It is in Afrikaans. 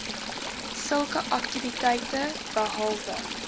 sulke aktiwiteite behalwe